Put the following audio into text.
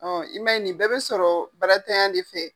Ɔn i ma ye nin bɛɛ be sɔrɔ baarantanya de fɛ.